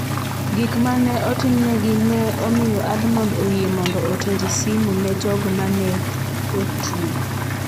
Gik ma ne otimnegi ne omiyo Almond oyie mondo oter simu ne jogo ma ne otwe.